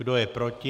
Kdo je proti?